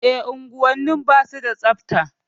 E, unguwanni ba su da tsabta.